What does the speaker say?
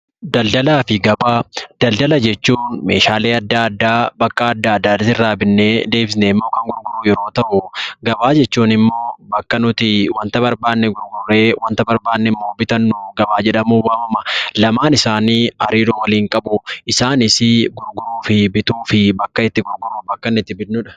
Daldala jechuun meeshaalee adda addaa bakka adda addaatii irraa binnee deebisnee immoo kan gurgurru yeroo ta'u, gabaa jechuun immoo bakka nuti wanta barbaanne gurgurree wanta barbaanne bitannu gabaa jedhamuun waamama. Daldalaa fi gabaan hariiroo waliinii qabu. Isaanis gurguruu fi bituu fi bakkatti gurgurruu fi bitnudha.